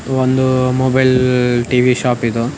ಒಂದು mobile TV shop ಇದು --